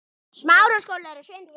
Togar hann niður til sín.